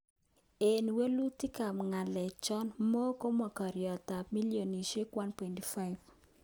Eng walutik ap galek cho, mo komakariet ap bilionishek 1.5